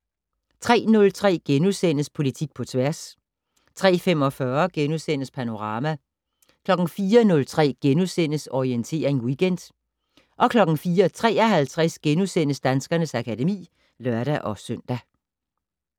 03:03: Politik på tværs * 03:45: Panorama * 04:03: Orientering Weekend * 04:53: Danskernes akademi *(lør-søn)